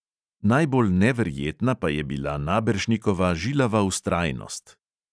Najbolj neverjetna pa je bila naberšnikova žilava vztrajnost.